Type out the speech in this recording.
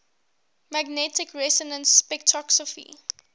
magnetic resonance spectroscopy